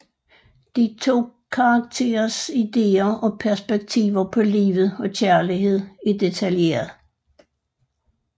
De to karakterers ideer og perspektiver på livet og kærlighed er detaljeret